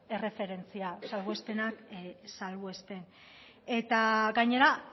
erreferentzia salbuespenak salbuespen eta gainera